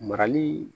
Marali